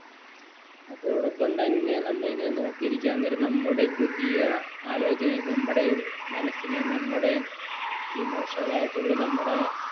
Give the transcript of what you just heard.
അതോടൊപ്പം തന്നെ നമ്മൾ ഇങ്ങനെ നോക്കിയിരിക്കാ നേരം നമ്മുടെ പുതിയ ആലോചന നമ്മുടെ മനസ്സിനെ നമ്മുടെ emotional ആയിട്ടുള്ള നമ്മുടെ